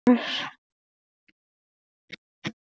Hún skrifar og vill draga styttu sína til baka.